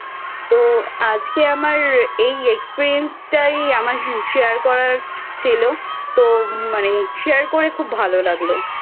তো আজকে আমার এই Experience টাই আমার Share করার ছিল তো মানে Share করে খুব ভালো লাগলো।